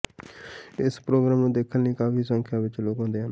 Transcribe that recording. ਇਸ ਪ੍ਰੋਗਰਾਮ ਨੂੰ ਦੇਖਣ ਲਈ ਕਾਫੀ ਸੰਖਿਆ ਵਿਚ ਲੋਕ ਆਉਂਦੇ ਹਨ